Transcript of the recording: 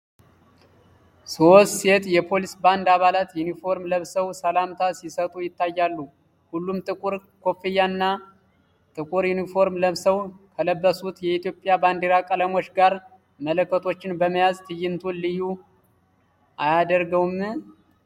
ሦስት ሴት የፖሊስ ባንድ አባላት ዩኒፎርም ለብሰው ሰላምታ ሲሰጡ ይታያሉ፤ ሁሉም ጥቁር ኮፍያ እና ጥቁር ዩኒፎርም ለብሰው፣ ከለበሱት የኢትዮጵያ ባንዲራ ቀለሞች ጋር መለከቶችን በመያዝ ትዕይንቱን ልዩ አያደርገውም?